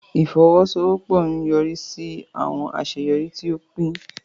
Ifowosowopo nyorisi si awọn aṣeyọri ti o pin.